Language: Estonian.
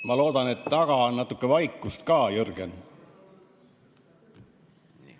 Ma loodan, et taga on natuke vaikust ka, Jürgen.